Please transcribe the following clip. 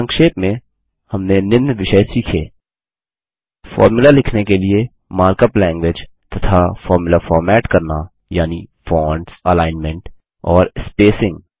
संक्षेप में हमने निम्न विषय सीखे फोर्मुला लिखने के लिए मार्कअप लैंगग्वेज तथा फोर्मुला फॉर्मेट करना यानि फ़ोंट्स अलाइनमेंट और स्पेसिंग